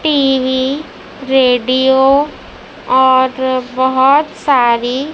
TV radio और बहोत सारी--